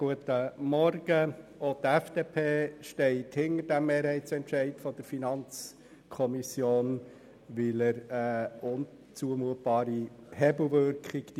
Auch die FDP steht hinter dem Mehrheitsentscheid der FiKo, weil die Massnahme eine unzumutbare Hebelwirkung hätte.